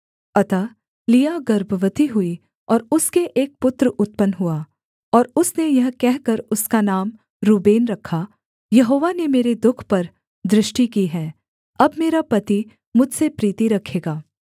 अतः लिआ गर्भवती हुई और उसके एक पुत्र उत्पन्न हुआ और उसने यह कहकर उसका नाम रूबेन रखा यहोवा ने मेरे दुःख पर दृष्टि की है अब मेरा पति मुझसे प्रीति रखेगा